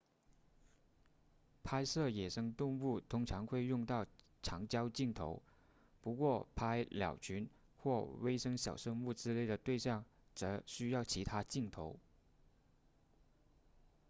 拍摄野生动物通常会用到长焦镜头不过拍鸟群或微小生物之类的对象则需要其他镜头